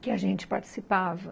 que a gente participava.